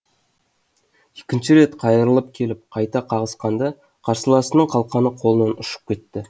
екінші рет қайырылып келіп қайта қағысқанда қарсыласының қалқаны қолынан ұшып кетті